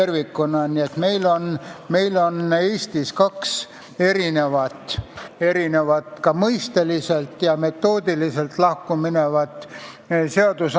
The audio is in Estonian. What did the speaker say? Nii et meil Eestis jagunevad seadused kaheks ka mõisteliselt ja metoodiliselt lahkuminevaks osaks.